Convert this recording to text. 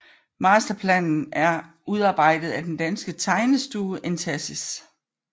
Masterplanen er udarbejdet af den danske tegnestue Entasis